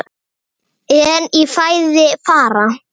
En í fæði fara